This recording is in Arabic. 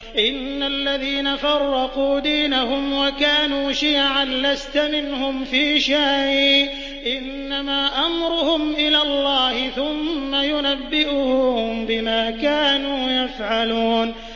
إِنَّ الَّذِينَ فَرَّقُوا دِينَهُمْ وَكَانُوا شِيَعًا لَّسْتَ مِنْهُمْ فِي شَيْءٍ ۚ إِنَّمَا أَمْرُهُمْ إِلَى اللَّهِ ثُمَّ يُنَبِّئُهُم بِمَا كَانُوا يَفْعَلُونَ